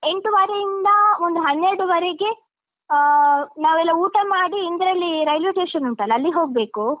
ಎಂಟುವರೆಯಿಂದ ಒಂದು ಹನ್ನೆರಡುವರೆಗೆ ಆ ನಾವೆಲ್ಲ ಊಟ ಮಾಡಿ, ಇಂದ್ರಾಳಿ railway station ಉಂಟಲ್ಲ, ಅಲ್ಲಿಗ್ ಹೋಗ್ಬೇಕು.